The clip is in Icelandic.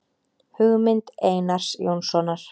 Hugmynd Einars Jónssonar.